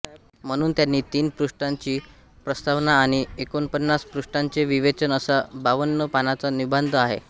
म्हणून त्यांनी तीन पृष्ठांची प्रस्तावना आणि एकोणपन्नास पृष्ठांचे विवेचन असा बावन्न पानाचा निबांध लिहिला